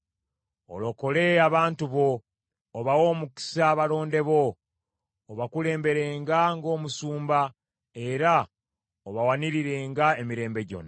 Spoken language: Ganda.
Olokole abantu bo, obawe omukisa abalonde bo. Obakulemberenga ng’omusumba, era obawanirirenga emirembe gyonna.